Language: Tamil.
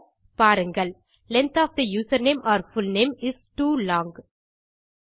பாருங்கள் length of the username or full name is too long